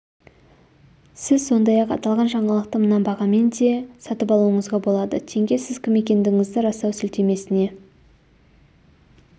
сіз сондай-ақ аталған жаңалықты мына бағамен де сатып алуыңызға болады тенге сіз кім екендігіңізді растау сілтемесіне